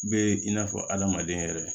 Be in n'a fɔ adamaden yɛrɛ